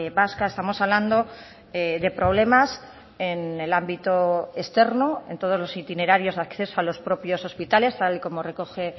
vasca estamos hablando de problemas en el ámbito externo en todos los itinerarios de acceso a los propios hospitales tal y como recoge